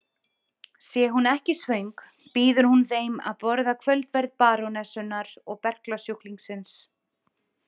Sé hún ekki svöng býður hún þeim að borða kvöldverð barónessunnar og berklasjúklingsins.